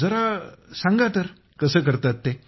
जरा सांगा तर कसं करतात ते